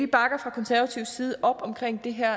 bakker fra konservativ side op omkring det her